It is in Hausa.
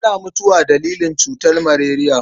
Ana mutuwa dalilin cutar maleriya.